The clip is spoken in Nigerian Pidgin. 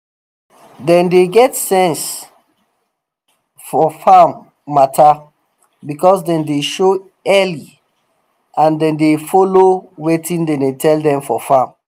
dem dey get sense fof farm matter because dem dey show early and dem dey follow wetin dem tell dem for farm